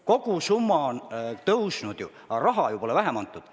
Kogusumma on kasvanud, raha pole vähem antud.